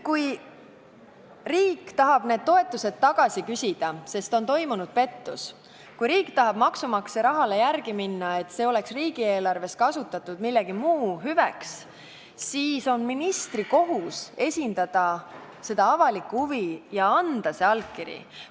Kui riik tahab need toetused tagasi küsida, sest on toimunud pettus, kui riik tahab maksumaksja rahale järele minna, et see oleks riigieelarves kasutatud mingiks muuks hüveks, siis on ministri kohus esindada seda avalikku huvi ja anda see allkiri.